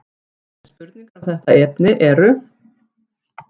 Aðrir sem sent hafa inn spurningar um þetta efni eru: